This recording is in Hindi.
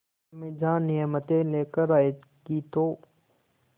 अम्मीजान नियामतें लेकर आएँगी तो